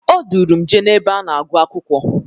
O duuru m jee n'ebe a na-agụ akwụkwọ.